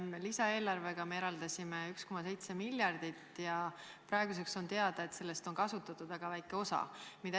Lisaeelarvega me eraldasime 1,7 miljardit ja praeguseks on teada, et sellest on kasutatud väga väike osa.